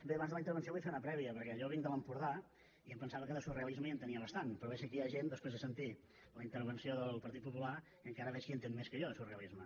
bé abans de la intervenció vull fer una prèvia perquè jo vinc de l’empordà i em pensava que de surrealisme n’entenia bastant però veig que aquí hi ha gent després de sentir la intervenció del partit popular que encara veig que n’entén més que jo de surrealisme